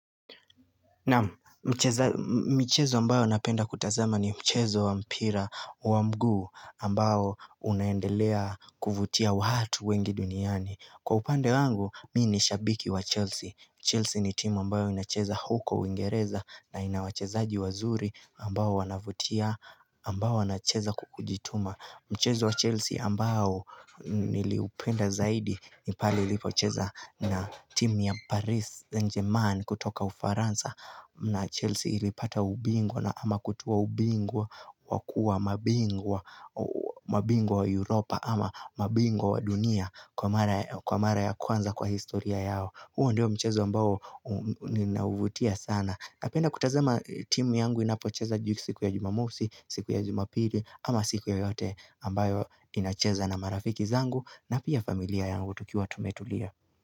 Naam michezo ambayo napenda kutazama ni mchezo wa mpira wa mguu ambao unaendelea kuvutia waatu wengi duniani Kwa upande wangu mi ni shabiki wa Chelsea Chelsea ni team ambao inacheza huko uingereza na ina wachezaaji wazuri ambao wanavutia ambao wanacheza kwa kujituma michezo wa Chelsea ambao niliupenda zaidi ni pale ilipocheza na team ya Paris Saint-Germain kutoka ufaransa na Chelsea ilipata ubingwa na ama kutoa ubingwa wa kuwa mabingwa mabingwa wa Europa ama mabingwa wa dunia kwa mara ya kwanza kwa historia yao huo ndio mchezo ambao ninauvutia sana napenda kutazama timu yangu inapocheza siku ya jumamusi siku ya jumapili ama siku ya yoyote ambayo inacheza na marafiki zangu na pia familia yangu tukiwa tumetulia.